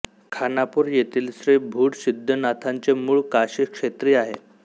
खानापूर येथील श्री भूड सिद्धनाथांचे मूळ काशीक्षेत्री आहे